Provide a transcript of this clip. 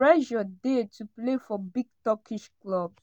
“pressure dey to play for big turkish clubs.